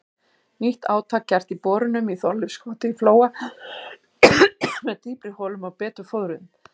Nýtt átak gert í borunum í Þorleifskoti í Flóa með dýpri holum og betur fóðruðum.